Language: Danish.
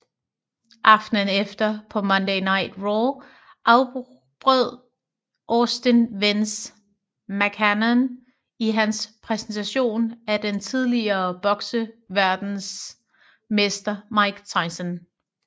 Aftenen efter på Monday Night Raw afbrød Austin Vince McMahon i hans præsentation af den tidligere bokseverdensmester Mike Tyson